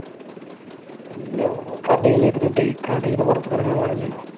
എന്റെയോ നമ്മൾ കടയിലിരുന്നിട്ട് കടയിൽ നിന്ന്